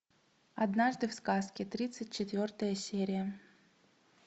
однажды в сказке тридцать четвертая серия